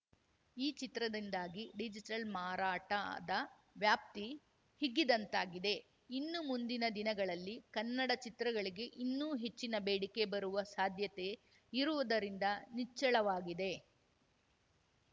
ಈ ಚಿತ್ರದಿಂದಾಗಿ ಡಿಜಿಟಲ್‌ ಮಾರಾಟದ ವ್ಯಾಪ್ತಿ ಹಿಗ್ಗಿದಂತಾಗಿದೆ ಇನ್ನು ಮುಂದಿನ ದಿನಗಳಲ್ಲಿ ಕನ್ನಡ ಚಿತ್ರಗಳಿಗೆ ಇನ್ನೂ ಹೆಚ್ಚಿನ ಬೇಡಿಕೆ ಬರುವ ಸಾಧ್ಯತೆ ಇರುವುದರಿಂದ ನಿಚ್ಚಳವಾಗಿದೆ